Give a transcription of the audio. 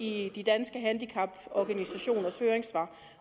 i de danske handicaporganisationers høringssvar